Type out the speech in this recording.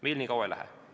Meil nii kaua ei lähe.